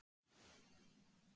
Æ, nei hugsa ég.